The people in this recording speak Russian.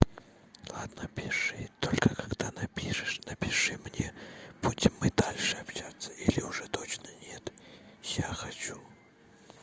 ладно пиши только когда напишешь напиши мне будем мы дальше общаться или уже точно нет я хочу